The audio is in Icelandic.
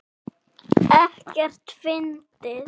Ekkert fyndið!